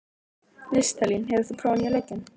Listalín, hefur þú prófað nýja leikinn?